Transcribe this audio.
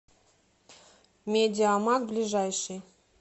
медиамаг ближайший